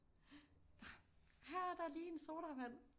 Her er der lige en sodavand